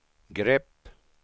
grepp